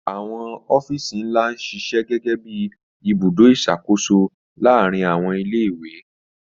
Àwọn ọ́fíìsì ńlá ń ṣiṣẹ́ gẹ́gẹ́ bí ibùdó ìṣàkóso láàárín àwọn ilé-ìwé.